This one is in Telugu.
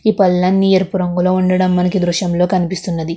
ఈ పల్లన్ని ఎరుపు రంగులో ఉండడం మనకి ఈ దృశ్యంలో కనిపిస్తున్నది.